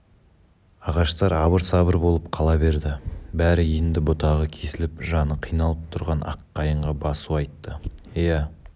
ағаштар абыр-сабыр болып қала берді бәрі енді бұтағы кесіліп жаны қиналып тұрған аққайыңға басу айтты иә